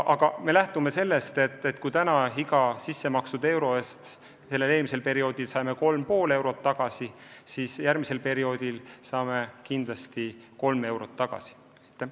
Aga me lähtume eeldusest, et kui me praegu saame iga sissemakstud euro eest tagasi 3,5 eurot, siis järgmisel perioodil kindlasti vähemalt 3 eurot.